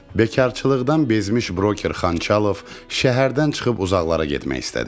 Bekarçılıqdan bezmiş broker Xançalov şəhərdən çıxıb uzaqlara getmək istədi.